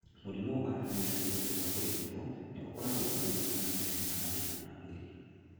Mũrimũ wa hernias ũngĩanga kũrigito nĩ ũkorago na ruo na nĩ ũrehaga mathĩna ma mwĩrĩ.